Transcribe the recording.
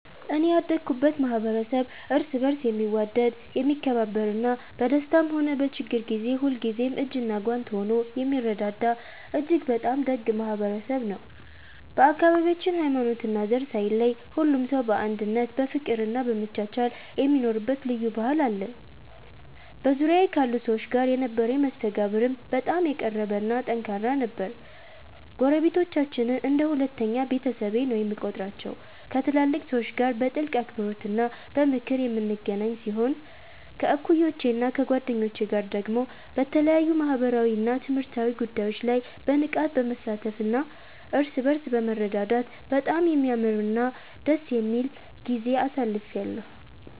እኔ ያደኩበት ማኅበረሰብ እርስ በርስ የሚዋደድ፣ የሚከባበርና በደስታም ሆነ በችግር ጊዜ ሁልጊዜም እጅና ጓንት ሆኖ የሚረዳዳ እጅግ በጣም ደግ ማኅበረሰብ ነው። በአካባቢያችን ሃይማኖትና ዘር ሳይለይ ሁሉም ሰው በአንድነት በፍቅርና በመቻቻል የሚኖርበት ልዩ ባህል አለን። በዙሪያዬ ካሉ ሰዎች ጋር የነበረኝ መስተጋብርም በጣም የቀረበና ጠንካራ ነበር። ጎረቤቶቻችንን እንደ ሁለተኛ ቤተሰቤ ነው የምቆጥራቸው፤ ከትላልቅ ሰዎች ጋር በጥልቅ አክብሮትና በምክር የምንገናኝ ሲሆን፣ ከእኩዮቼና ከጓደኞቼ ጋር ደግሞ በተለያዩ ማኅበራዊና ትምህርታዊ ጉዳዮች ላይ በንቃት በመሳተፍና እርስ በርስ በመረዳዳት በጣም የሚያምርና ደስ የሚል ጊዜ አሳልፌአለሁ።